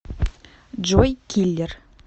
джой киллер